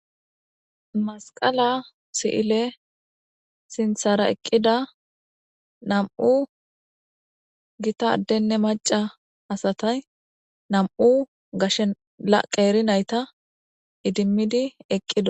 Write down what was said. Masqala si'ile sinthara eqqida nam'u gita addenne macca asati,nam'u gashe woyko qeeri nayta idimmidi eqqidosona.